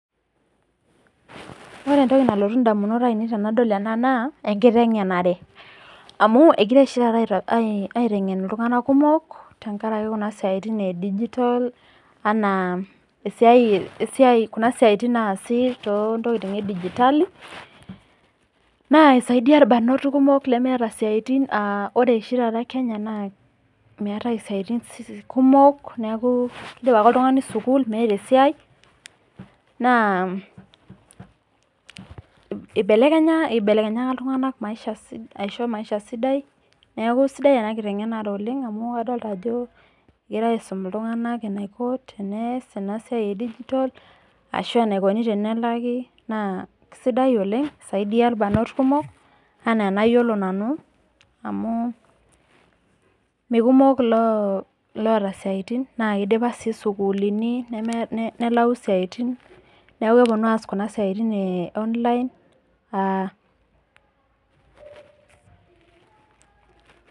Ore entoki nalotu indamunot ainei tenadol ena naa, enkiteng'enare. Amu egirai oshi taata aiteng'en iltung'anak kumok, tenkaraki kuna siaitin e digitol, anaa kuna siaitin naasi too ntokitin e digitali, naa eisaidia ilbarnot kumok lemeata isiaitin, anaa ore oshi taata kenya naa meatai isiatin kumok, neaku indip ake oltung'ani sukuul meata esiai , naa eibelekenyaka iltung'anak maisha sidai. Neaku sidai ena kiteng'enare oleng' amu adolita ajo egirai aisum iltung'anak eneiko pee eas ena siai e digitol, ahu eneikune pee elaki, naa sidai oleng' eisaidia ilbarnot kumok anaa enayiolo nanu, amu mee kumok iloata isiaitin naake aeidipa sii isukuulini nelayu isiaitin, neaku epuonu aas kuna siaitin e online.